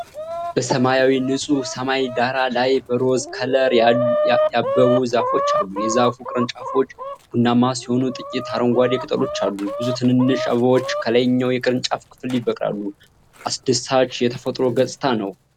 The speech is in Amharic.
በሰማያዊ ንጹህ ሰማይ ዳራ ላይ በሮዝ ከለር ያበቡ ዛፎች አሉ። የዛፉ ቅርንጫፎች ቡናማ ሲሆኑ ጥቂት አረንጓዴ ቅጠሎች አሉ። ብዙ ትንንሽ አበባዎች ከላይኛው የቅርንጫፍ ክፍል ይበቅላሉ። አስደሳች የተፈጥሮ ገጽታ ነው።